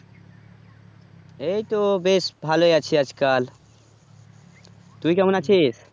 এইতো বেশ ভালোই আছি আজকাল তুই কেমন আছিস